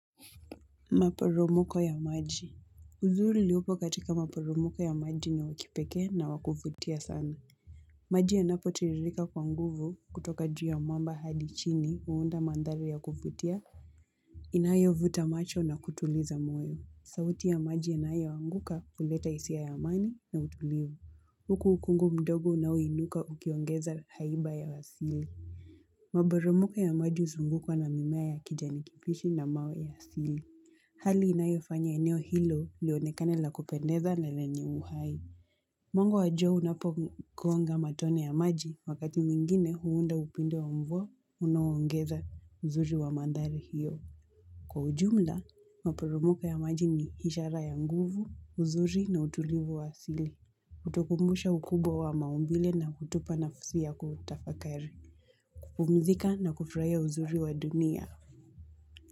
Maporomoko ya maji. Uzuri uliupo katika maporomoko ya maji ni wa kipekee na wakuvutia sana. Maji yanapotiririka kwa nguvu kutoka juu ya mwamba hadi chini huunda mandhari ya kuvutia. Inayo vuta macho na kutuliza moyo. Sauti ya maji yanayo anguka huleta hisi ya amani na utulivu. Maji yanapotiririka kwa nguvu kutoka juu ya mwamba hadi chini huunda mandhari ya kuvutia. Inayo vuta macho na kutuliza moyo. Sauti ya maji ya naayo anguka kuleta isi ya amani na utulivu hali inayofanya eneo hilo lionekane la kupendeza na lenye uhai mwanga wa jua unapogonga matone ya maji wakati mwingine huunda upinde wa mvua unaoongeza uzuri wa mandhari hiyo. Kwa ujumla, maparumuka ya maji ni ishara ya nguvu, uzuri na utulivu wa sili. Hutukumbusha ukubwa wa maumbile na kutupa nafasi ya kutafakari. Kupumzika na kufurahia uzuri wa dunia.